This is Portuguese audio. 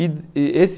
E eh esse